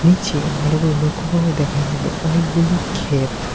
নিচে ভালো করে লক্ষ্য করে দেখা যাবে অনেকগুলি ক্ষেত।